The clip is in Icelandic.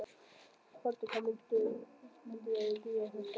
Höddi, hvaða myndir eru í bíó á föstudaginn?